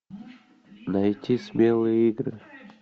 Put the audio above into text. найти смелые игры